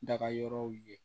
Daga yɔrɔw ye